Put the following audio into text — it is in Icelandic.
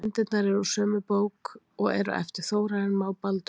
Myndirnar eru úr sömu bók og eru eftir Þórarin Má Baldursson.